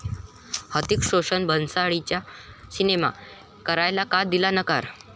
हृतिक रोशननं भन्साळींचा सिनेमा करायला का दिला नकार?